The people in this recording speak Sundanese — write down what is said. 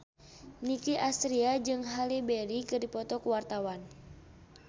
Nicky Astria jeung Halle Berry keur dipoto ku wartawan